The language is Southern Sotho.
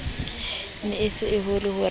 ne e se ho re